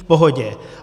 V pohodě.